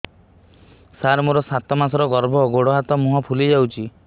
ସାର ମୋର ସାତ ମାସର ଗର୍ଭ ଗୋଡ଼ ହାତ ମୁହଁ ଫୁଲି ଯାଉଛି